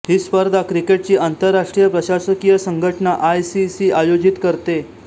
हि स्पर्धा क्रिकेटची आंतरराष्ट्रीय प्रशासकीय संघटना आय सी सी आयोजीत करते